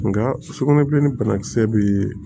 Nka sukɔnɛbilen ni banakisɛ bɛ